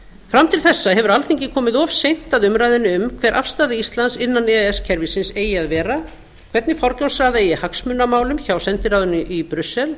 fram til þessa hefur alþingi komið of seint að umræðunni um hver afstaða íslands innan e e s kerfisins eigi að vera hvernig forgangsraða eigi hagsmunamálum hjá sendiráðinu í brussel